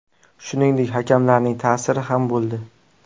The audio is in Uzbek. Shuningdek, hakamlarning ta’siri ham bo‘ldi.